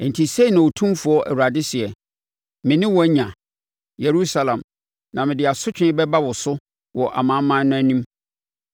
“Enti sei na Otumfoɔ Awurade seɛ: Me ne wo anya, Yerusalem, na mede asotwe bɛba wo so wɔ amanaman no anim.